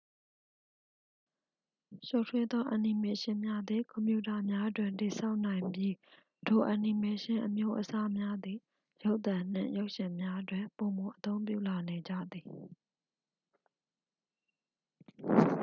ရှုပ်ထွေးသော အန်နီမေးရှင်းများသည် ကွန်ပြူတာများတွင် တည်ဆောက်နိုင်ပြီး ထိုအန်နီမေးရှင်းအမျိုးအစားများသည် ရုပ်သံနှင့် ရုပ်ရှင်များတွင် ပိုမိုအသုံးပြုလာနေကြသည်